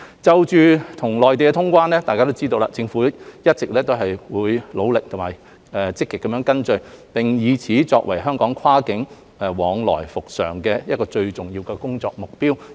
就與內地通關，政府一直努力和積極跟進，並以此作為香港跨境往來復常的最重要工作目標。